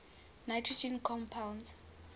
nitrogen compounds